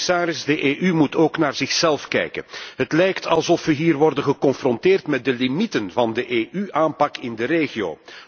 En, commissaris, de EU moet ook naar zichzelf kijken. Het lijkt alsof we hier worden geconfronteerd met de limieten van de EU aanpak in de regio.